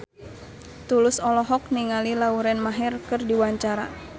Tulus olohok ningali Lauren Maher keur diwawancara